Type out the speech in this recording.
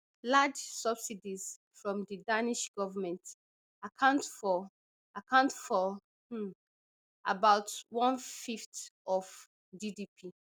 large subsidies from di danish government account for account for um about one fifth of gdp